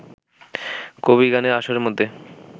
কবিগানের আসরের মধ্যে